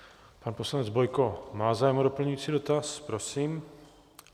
Pan poslanec Bojko má zájem o doplňující dotaz, prosím.